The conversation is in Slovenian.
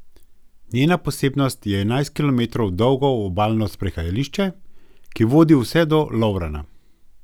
Njena posebnost je enajst kilometrov dolgo obalno sprehajališče, ki vodi vse do Lovrana.